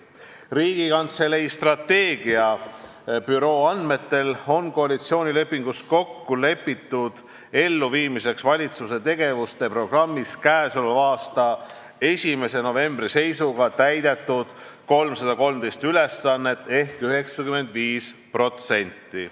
Riigikantselei strateegiabüroo andmetel oli koalitsioonilepingus kokkulepitu elluviimiseks koostatud valitsuse tegevusprogrammist k.a 1. novembri seisuga täidetud 313 ülesannet ehk 95%.